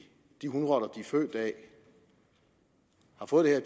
de hunrotter de er født af har fået det